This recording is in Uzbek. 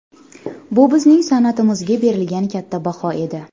Bu bizning san’atimizga berilgan katta baho edi.